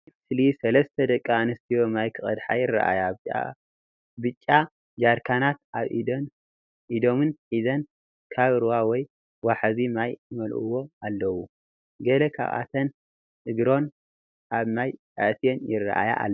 ኣብዚ ምስሊ ሰለስተ ደቂ ኣንስትዮ ማይ ክቀድሓ ይረኣያ። ብጫ ጀርካናት ኣብ ኢዶምን ሒዞን ካብ ሩባ ወይ ወሓዚ ማይ ይመልእዎ ኣለዉ። ገለ ካብኣተን እግሮን ኣብ ማይ ኣእትየን ይረኣያ ኣለዋ።